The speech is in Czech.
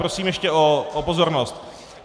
Prosím ještě o pozornost.